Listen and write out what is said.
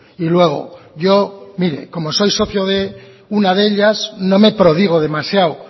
y luego yo mire como soy socio de una de ellas no me prodigo demasiado